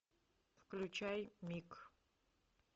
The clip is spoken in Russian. включай миг